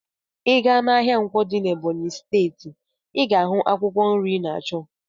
Ị gaa n'ahịa Nkwo dị n'Ebọnyị steeti, ị ga-ahụ akwụkwọ nri ị na-achọ.